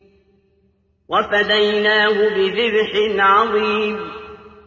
وَفَدَيْنَاهُ بِذِبْحٍ عَظِيمٍ